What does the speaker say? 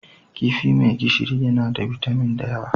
Kifi mai gishiri yana da bitamin da yawa.